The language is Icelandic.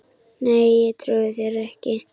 Nei, ég trúi þér ekki.